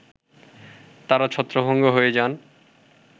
তারা ছত্রভঙ্গ হয়ে যান